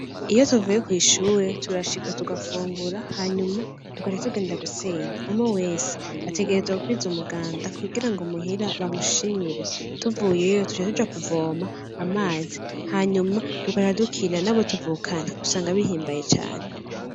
Iyo tuvuye ku ishuri turashika tugafungura hanyuma tugaca tugenda gusenya, umwe wese ategerezwa gukwiza umuganda kugirango muhira bamushimire, tuvuyeyo duca tuja kuvoma amazi hanyuma tugaca dukina nabo tuvukana, usanga bihimbaye cane.